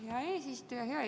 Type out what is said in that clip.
Aitäh, hea eesistuja!